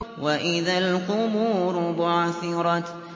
وَإِذَا الْقُبُورُ بُعْثِرَتْ